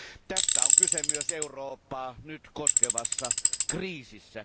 Tästä on kyse myös Eurooppaa nyt koskevassa kriisissä.